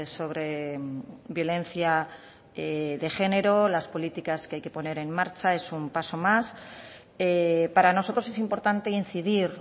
sobre violencia de género las políticas que hay que poner en marcha es un paso más para nosotros es importante incidir